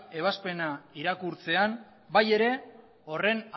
ebazpena irakurtzean bai ere horren